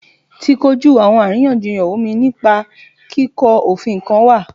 Ti koju awọn ariyanjiyan omi nipa kiko ofin kan wa